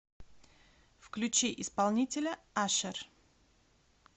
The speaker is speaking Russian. включи исполнителя ашер